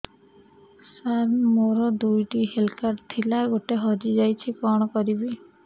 ସାର ମୋର ଦୁଇ ଟି ହେଲ୍ଥ କାର୍ଡ ଥିଲା ଗୋଟେ ହଜିଯାଇଛି କଣ କରିବି